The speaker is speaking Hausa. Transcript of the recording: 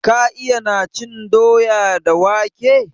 Ka iyana cin doya da wake?